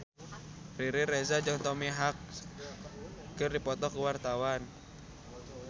Riri Reza jeung Tom Hanks keur dipoto ku wartawan